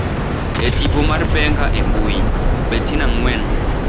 E tipo mar Benga e mbui, Bettina Ng’weno,